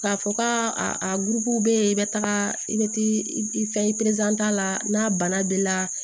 K'a fɔ kaa a gurupuw bɛ yen i bɛ taga i bɛ taa i fɛn ta la n'a bana b'i la